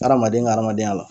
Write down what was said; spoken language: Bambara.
Hadamaden ka hadamadenya la.